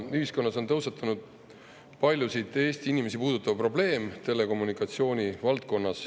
Ühiskonnas on tõusetunud paljusid Eesti inimesi puudutav probleem telekommunikatsiooni valdkonnas.